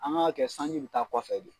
An k'a kɛ sanji bi taa kɔfɛ bi.